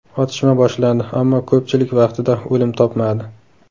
Otishma boshlandi, ammo ko‘pchilik vaqtida o‘lim topmadi.